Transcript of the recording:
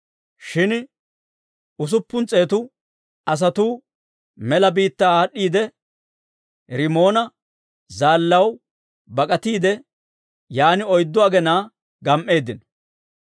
Shin usuppun s'eetu asatuu mela biittaa aad'd'iide, Rimoona Zaallaakko bak'atiide, yaan oyddu agenaa gam"eeddino.